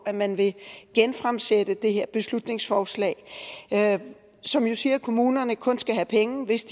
at man vil genfremsætte det her beslutningsforslag som jo siger at kommunerne kun skal have penge hvis